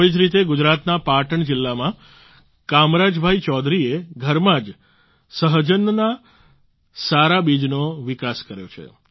આવી જ રીતે ગુજરાતના પાટણ જિલ્લામાં કામરાજભાઈ ચૌધરીએ ઘરમાં જ સહજનના સારા બીજનો વિકાસ કર્યો છે